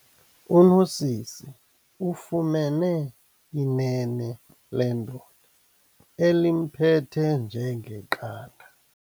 UNosisi ufumene inene lendoda elimphethe njengeqanda.